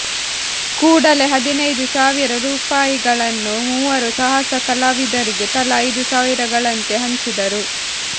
ಕೂಡಲೆ ಹದಿನೈದು ಸಾವಿರ ರುಪಾಯಿಗಳನ್ನು ಮೂವರು ಸಾಹಸ ಕಲಾವಿದರಿಗೆ ತಲಾ ಐದು ಸಾವಿರಗಳಂತೆ ಹಂಚಿದರು